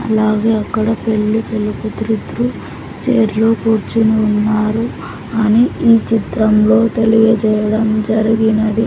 అలాగే అక్కడ పెళ్లి పెళ్లి కూతురు ఇద్దరు చైర్ లో కూర్చోనున్నారు అని ఈ చిత్రంలో తెలియజేయడం జరిగినది.